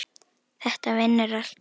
Þetta vinnur allt saman.